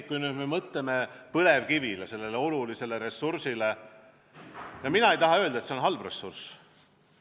Kui me mõtleme põlevkivile, sellele olulisele ressursile, siis mina ei taha öelda, et see on halb ressurss.